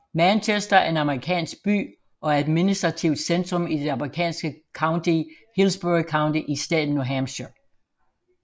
Manchester er en amerikansk by og administrativt centrum i det amerikanske county Hillsborough County i staten New Hampshire